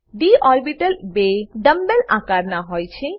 D orbital બે double dumb bell બે dumb bell આકાર ના હોય છે